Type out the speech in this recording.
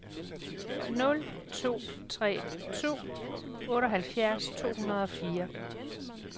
nul to tre to otteoghalvfjerds to hundrede og fire